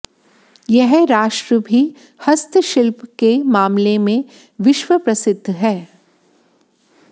यह राष्ट्र भी हस्तशिल्प के मामले में विश्व प्रसिद्ध है